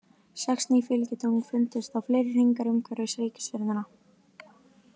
Sex ný fylgitungl fundust og fleiri hringar umhverfis reikistjörnuna.